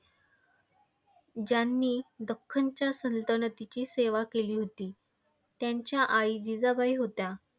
ज्यांनी दख्खनच्या सल्तनतीची सेवा केली होती. त्यांच्या आई जिजाबाई होत्या.